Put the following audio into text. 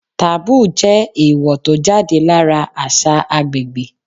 Taboo jẹ́ èèwò tó jáde lára àṣà agbègbè.